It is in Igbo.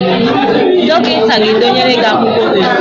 Dọkịta ga-edenyere gị ọgwụ ozugbo